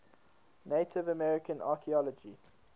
native american archeology